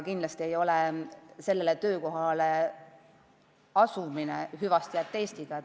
Kindlasti ei ole sellele töökohale asumine hüvastijätt Eestiga.